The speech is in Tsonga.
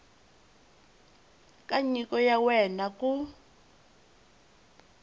ka nyiko ya wena ku